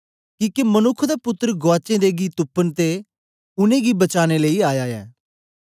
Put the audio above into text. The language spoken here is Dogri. किके मनुक्ख दा पुत्तर गुआचें दें गी तुपन ते उनेंगी बचाने लेई आया ऐ